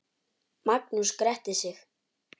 Magnús gretti sig.